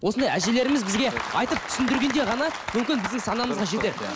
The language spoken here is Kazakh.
осындай әжелеріміз бізге айтып түсіндіргенде ғана мүмкін біздің санамызға жетеді